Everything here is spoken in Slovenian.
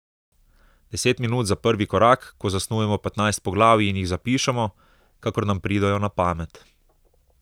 Deset minut za prvi korak, ko zasnujemo petnajst poglavij in jih zapišemo, kakor nam pridejo na pamet.